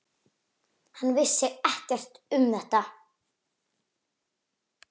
Hann vissi ekkert um þetta.